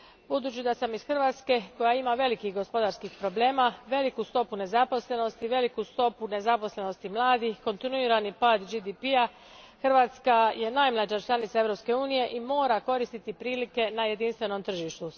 Budući da sam iz Hrvatske koja ima velikih gospodarskih problema, veliku stopu nezaposlenosti, veliku stopu nezaposlenosti mladih, kontinuirani pad GDP a, Hrvatska je najmlađa članica Europske unije i mora koristiti prilike na jedinstvenom tržištu.